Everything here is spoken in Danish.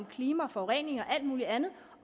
klima forurening og alt muligt andet